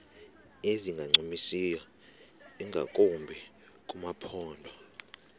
ezingancumisiyo ingakumbi kumaphondo